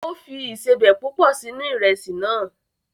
O fi ìsebẹ̀ púpọ̀ sínú Ìrẹ́sì náà